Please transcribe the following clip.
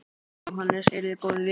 Jóhannes: Eruð þið góðir vinir?